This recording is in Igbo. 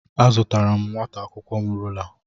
Azụtara nwata akwụkwọ m rula.